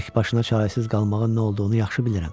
Təkbaşına çarəsiz qalmağın nə olduğunu yaxşı bilirəm.